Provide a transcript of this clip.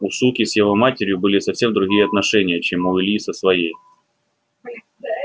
у суки с его матерью были совсем другие отношения чем у ильи со своей